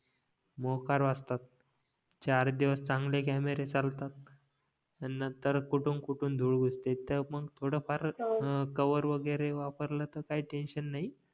मोकार वाजतात चार दिवस चांगले कॅमेरे चालतात अन नतंर कुटून कुटून धूर उडते तर मग थोडं फार कव्हर वगैरे वापरला तर काय टेन्शन नाही